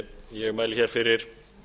ég mæli hér fyrir